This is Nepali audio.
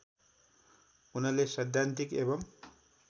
उनले सैद्धान्तिक एवं